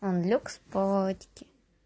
там люкс палочки